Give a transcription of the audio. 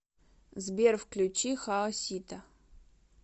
сбер включи хаосита